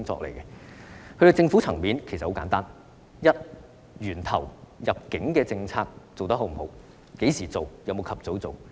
至於政府層面，其實很簡單：第一，在源頭方面，入境管控政策實施得是否理想？